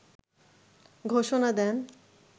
ঘোষণা দেন